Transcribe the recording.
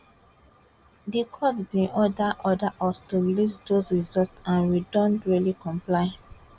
di court bin order order us to release dose results and we don duly comply